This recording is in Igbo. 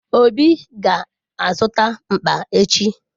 Obi ga-azụta mkpa echi.